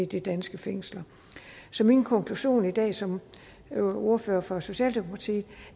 de danske fængsler så min konklusion i dag som ordfører for socialdemokratiet